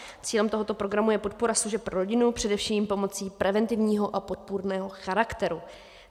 Cílem tohoto programu je podpora služeb pro rodinu, především pomocí preventivního a podpůrného charakteru.